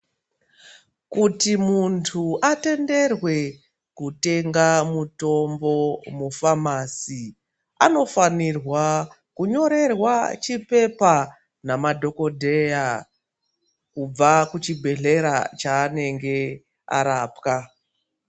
Kuti muntu atenderwe kutenga mutombo mufamasi anofanirwa kunyorerwa chipepa namadhokodheya kubva kuchibhedhlera chanenge arapwa.